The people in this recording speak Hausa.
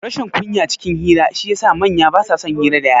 Rashin kunya cikin hira shi ya sa manya basa son hira dayara